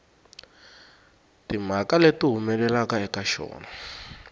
timhaka leti humelelaka eka xona